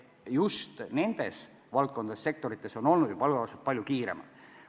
Just nendes valdkondades, sektorites on palgakasv palju kiirem olnud.